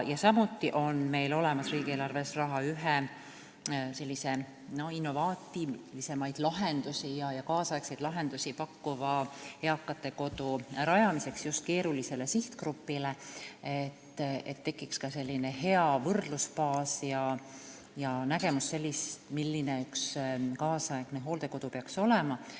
Samuti on meil olemas riigieelarves raha ühe sellise innovaatilisemaid ja tänapäevasemaid lahendusi pakkuva eakate kodu rajamiseks, just keerulisele sihtgrupile, et tekiks ka hea võrdlusbaas ja nägemus, milline peaks üks nüüdisaegne hooldekodu olema.